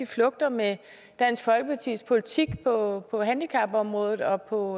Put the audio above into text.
flugter med dansk folkepartis politik på handicapområdet og på